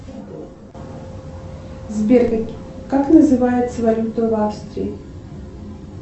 сбер как называется валюта в австрии